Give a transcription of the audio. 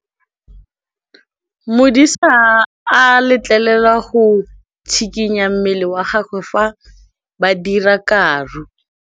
Modise ga a letlelelwa go tshikinya mmele wa gagwe fa ba dira karô.